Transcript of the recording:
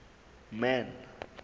man